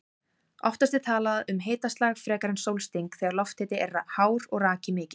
Oftast er talað um hitaslag frekar en sólsting þegar lofthiti er hár og raki mikill.